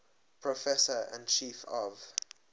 professor and chief of